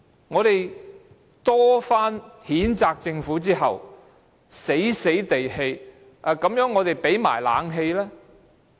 我們多番譴責政府後，政府才被迫提供冷氣。